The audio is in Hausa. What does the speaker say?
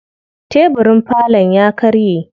Tebirin falon ya karye.